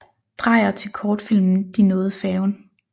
Dreyer til kortfilmen De nåede færgen